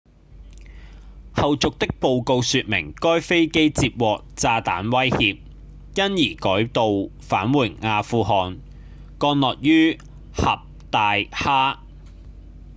後續的報告說明該飛機接獲炸彈威脅因而改道返回阿富汗降落於坎大哈